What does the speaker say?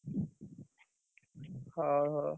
ହଉ ହଉ।